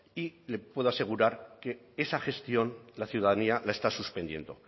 y le puedo asegurar que esa gestión la ciudadanía la está suspendiendo